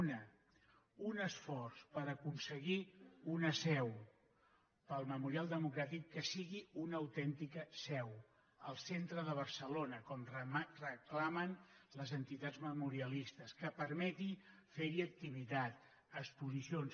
una un esforç per aconseguir una seu per al memorial democràtic que sigui una autèntica seu al centre de barcelona com reclamen les entitats memorialistes que permeti ferhi activitat exposicions